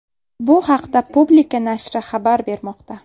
Bu haqda Publika nashri xabar bermoqda.